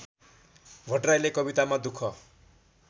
भट्टराईले कवितामा दुःख